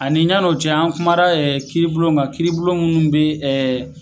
Ani yann'o cɛ an kuma e kiiribulon kan kiiribulon min bɛ ɛ